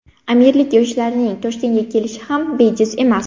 Amirlik yoshlarining Toshkentga kelishi ham bejiz emas.